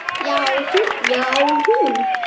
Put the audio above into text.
Já, hún!